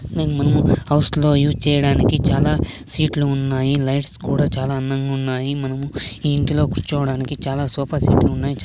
మనము హౌస్ లో యూస్ చేయడానికి చాలా సీట్ లు ఉన్నాయి లైట్స్ కూడా చాలా అందంగా ఉన్నాయి మనము ఈ ఇంట్లో కూర్చోడానికి చాలా సోఫా సెట్ లు ఉన్నాయి. చా --